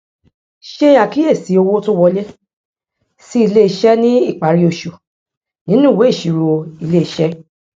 ṣe àkíyèsí owó tó wọlé sí ilé iṣẹ ní ìparí oṣù nínú ìwé ìsirò ilé iṣé